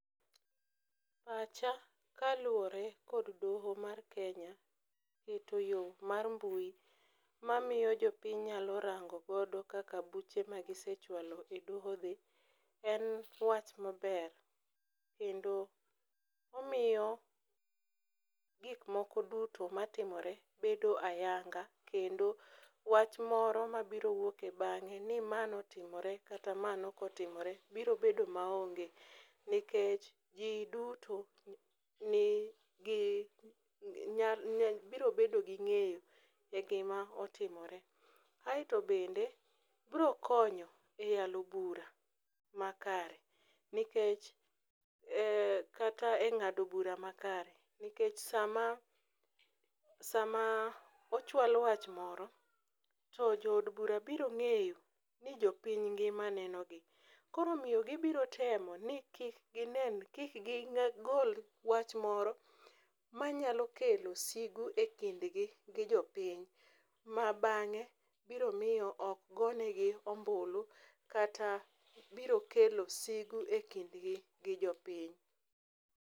Pacha kaluwore kod doho mar Kenya rito yo mar mbui mamiyo jopiny nyalo rango godo kaka buche magisechwalo e doho dhi en wach maber, kendo omiyo gikmoko duto matimore bedo ayanga kendo wach moro mabiro wuoke bang'e ni ma notimore kata ma nokotimore biro bedo maonge nikech ji duto biro bedo gi ng'eyo e gima otimore. Aeto bende brokonyo e yalo bura makare kata e ng'ado bura makare nikech sama ochwal wach moro to jood bura biro ng'eyo ni jopiny ngima nenogi, koro omiyo gibirotemo ni kik gigol wach moro manyalo kelo sigu e kindgi gi jopiny ma bang'e biro miyo okgone gi ombulu kata biro kelo sigu e kindgi gi jopiny.